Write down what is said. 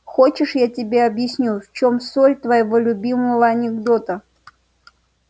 хочешь я тебе объясню в чем соль твоего любимого анекдота